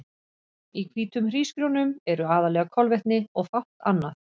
Í hvítum hrísgrjónum eru aðallega kolvetni og fátt annað.